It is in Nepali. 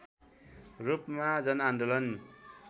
रूपमा जनआन्दोलन